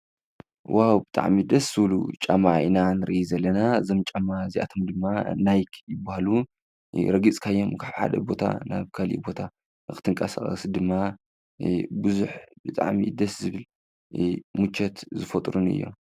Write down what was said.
ወው ብጥዕሚ ደስ ብሉ ጫማ ኢናንር ዘለና ዘም ጫማ እዚኣቶም ድማ ናይክ ይብሃሉ ረጊጽ ካዮም ካሕሓደ ቦታ ናብ ካል ቦታ ኣኽትንቃ ሠቐስ ድማ ብዙኅ ብጥኣሚ ደስ ዝብል ሙቾት ዝፈጥሩን እዮም